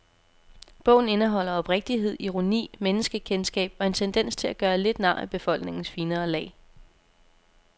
Bogen indeholder oprigtighed, ironi, menneskekendskab og en tendens til at gøre lidt nar af befolkningens finere lag.